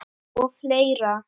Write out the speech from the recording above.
Og fleira.